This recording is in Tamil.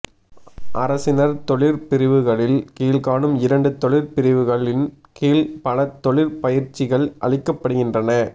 அரசினர் தொழிற்பிரிவுகளில் கீழ்காணும் இரண்டு தொழிற்பிரிவுகளின் கீழ் பல தொழிற்பயிற்சிகள் அளிக்கப்படுகின்றன